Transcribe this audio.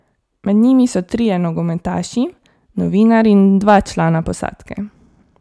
Med njimi so trije nogometaši, novinar in dva člana posadke.